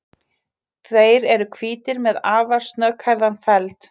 Þeir eru hvítir með afar snögghærðan feld.